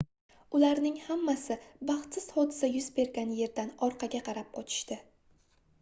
ularning hammasi baxtsiz hodisa yuz bergan yerdan orqaga qarab qochishdi